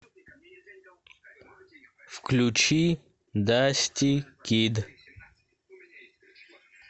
включи дасти кид